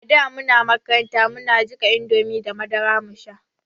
Ada muna makaranta muna jiƙa indomie da madara mu sha